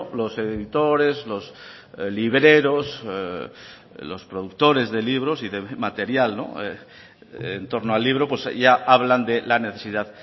los editores los libreros los productores de libros y de material en torno al libro pues ya hablan de la necesidad